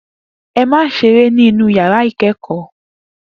E má se eré ní inú ìyàrá ìkẹẹkọ